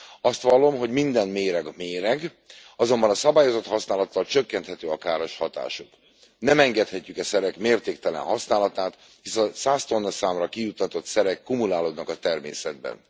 Azt vallom, hogy minden méreg méreg, azonban a szabályozott használattal csökkenthető a káros hatásuk. Nem engedhetjük e szerek mértéktelen használatát, hiszen a 100 tonna számra kijuttatott szerek kumulálódnak a természetben.